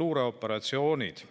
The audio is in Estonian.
luureoperatsioonid.